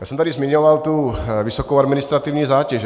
Já jsem tady zmiňoval tu vysokou administrativní zátěž.